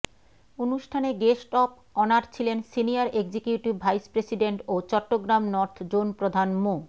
অনুষ্ঠানে guest of honour ছিলেন senior executive vice president ও চট্টগ্রাম নর্থ জোনপ্রধান মো